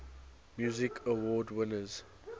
music awards winners